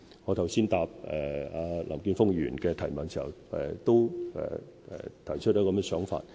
我剛才在回答林健鋒議員的提問時，也提出了這樣的想法。